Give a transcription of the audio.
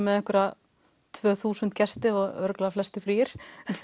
með einhverja tvö þúsund gesti og örugglega flestir fríir